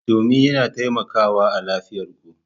Domin yana taimakawa a lafiyar ku.